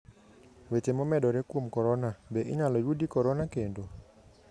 Weche momedore kuom corona: Be inyalo yudi corona kendo?